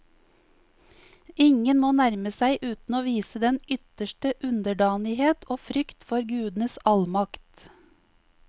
Ingen må nærme seg uten å vise den ytterste underdanighet og frykt for gudenes allmakt.